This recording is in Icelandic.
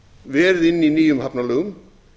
verið inni í nýjum hafnalögum